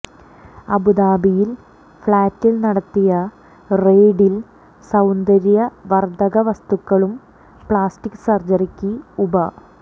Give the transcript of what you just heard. അബുദാബിയിലെ ഫ്ളാറ്റിൽ നടത്തിയ റേഡിൽ സൌന്ദര്യവർധക വസ്തുക്കളും പ്ലാസ്റ്റിക് സർജറിക്ക് ഉപ